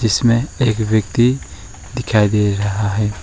इसमें एक व्यक्ति दिखाई दे रहा है।